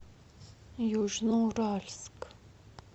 южноуральск